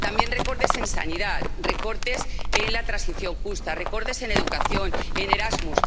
También recortes en sanidad, recortes en la transición justa, recortes en educación, en Erasmus.